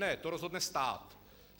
Ne, to rozhodne stát.